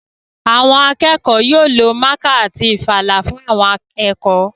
Àwọn akẹ́kọ̀ọ́ yóò lo mákà àti ìfalà fún àwọn ẹ̀kọ́